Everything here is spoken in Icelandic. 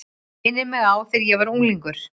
Minnir mig á þegar ég var unglingur.